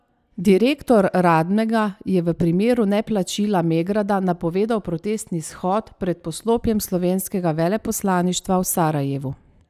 Direktor Radmega je v primeru neplačila Megrada napovedal protestni shod pred poslopjem slovenskega veleposlaništva v Sarajevu.